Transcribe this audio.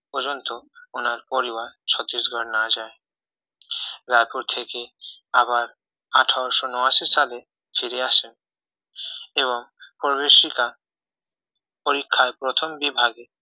না পর্যন্ত উনার পরিবার ছত্রিশগড় না যায় রায়পুর থেকে আবার আঠারোশো ঊনাশী সালে ফিরে আসেন এবং প্রবেশিকা পরীক্ষায় প্রথম বিভাগে